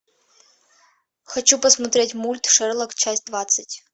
хочу посмотреть мульт шерлок часть двадцать